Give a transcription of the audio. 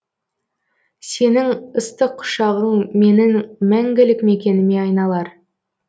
сенің ыстық құшағың менің мәңгілік мекеніме айналар